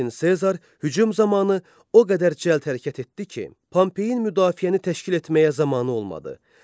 Lakin Sezar hücum zamanı o qədər cəld hərəkət etdi ki, Pompeyin müdafiəni təşkil etməyə zamanı olmadı.